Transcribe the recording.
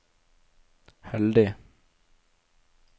heldig